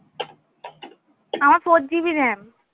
আমার four GBRAM